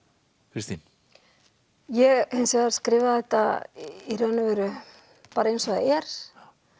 Kristín ég hins vegar skrifaði þetta í raun og veru eins og það er